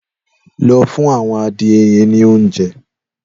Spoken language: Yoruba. Lọ fùn awọn adiẹ yẹ̀n ni óunjẹ̀